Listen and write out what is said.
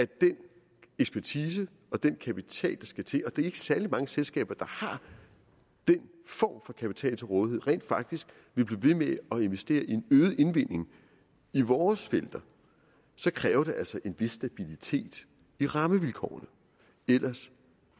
den ekspertise og den kapital der skal til og det er ikke særlig mange selskaber der har den form for kapital til rådighed rent faktisk vil blive ved med at investere i en øget indvinding i vores felter så kræver det altså en vis stabilitet i rammevilkårene ellers